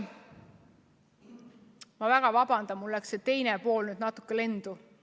Ma väga vabandan, mul läks küsimuse teine pool nüüd natuke lendu.